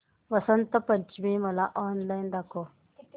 वसंत पंचमी मला ऑनलाइन दाखव